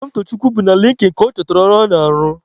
Somtochukwu bụ na Linkin ka ọ chọtara ọrụ ọ na-arụ.